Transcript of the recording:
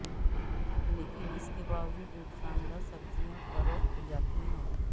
لیکن اس کے باوجود نقصان دہ سبزیاں فروخت جاتی ہیں